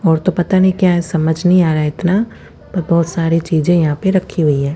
और तो पता नहीं क्या है समझ नहीं आरहा है इतना पर बहोत सारी चीज़े यहाँ पर रखी हुई है।